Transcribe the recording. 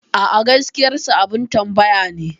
A'a, gaskiyarsa abin tambaya ne.